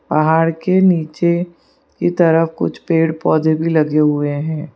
पहाड़ के नीचे की तरफ कुछ पेड़ पौधे भी लगे हुए हैं।